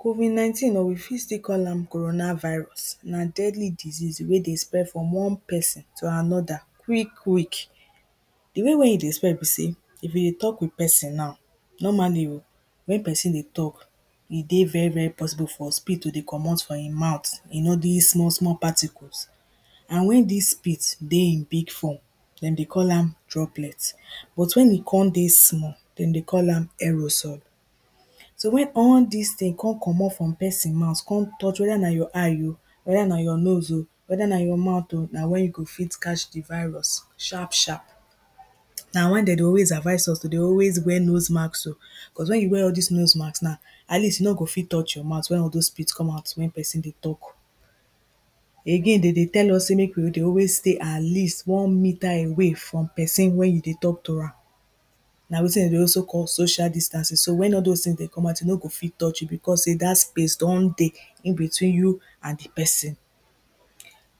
COVID-19 or we fit still call am corona virus, na deadly disease wey dey spread from one person to another quick quick. You know why e dey spread be say, if you dey tok with person na, normally o when person dey tok, e dey very very possible for spit to dey comot from im mouth, you know dis small small particles and when dis spit dey in big form dem dey call am droplet but when e con dey small dem dey call am aerosol. So when all dis thing con comot from person mouth con touch wether na your eye o, wether na your nose o, wether na your mouth o, na when you go fit catch di virus sharp sharp. Na why dem dey always advice us to dey always wear nose masks o, cos when you wear all dis nose mask na, at least e no go fit touch your mouth when all those spit come out when person dey tok. Again, de dey tell us say mek we dey always stay at least 1 meter away from person wey you dey tok toram, na wetin de dey also call social distancing, so when all dose things dey come out e no go fit touch you because say, dat space don dey in between you and di person.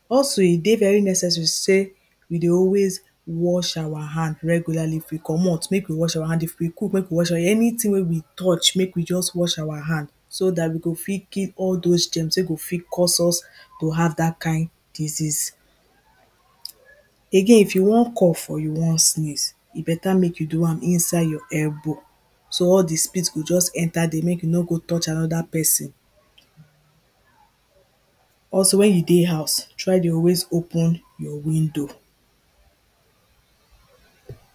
Also, e dey very necessary say, we dey always wash our hand regularly, if we comot, make we wash our hand, if we cook make we wash our hand, anything wey we touch make we just wash our hand, so dat we go fit kill all those germs wey go fit cause us to have dat kind disease. Again, if you wan cough or you wan sneeze, e better make you do am inside your elbow, so all di spit go just enter there make you no go touch another person. Also, when you dey house try dey always open your window